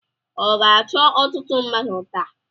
Ọ ga-achọ ọtụtụ mmadụ taa?